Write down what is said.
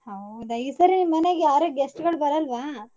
ಹೌದಾ ಈ ಸರಿ ನಿಮ್ಮನೇಗ್ ಯಾರು guest ಗಳ್ ಬರಲ್ವ?